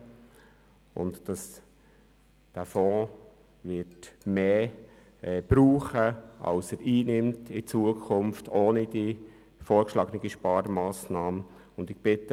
Der Fonds wird mehr Geld benötigen, als er in Zukunft ohne die vorgeschlagene Sparmassnahme einnehmen wird.